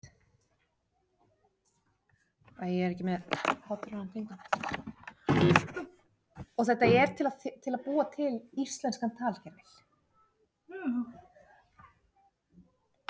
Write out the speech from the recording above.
Það mun ekki koma neinum á óvart.